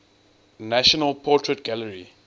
national portrait gallery